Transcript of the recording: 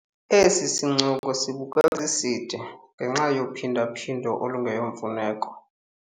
Esi sincoko sibukeka siside ngenxa yophinda-phindo olungeyomfuneko.